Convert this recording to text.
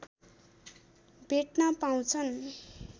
भेट्न पाउछन्